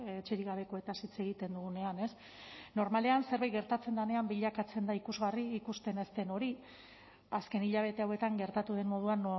etxerik gabekoez hitz egiten dugunean ez normalean zerbait gertatzen denean bilakatzen da ikusgarri ikusten ez den hori azken hilabete hauetan gertatu den moduan